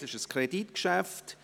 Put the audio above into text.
Es ist ein Kreditgeschäft.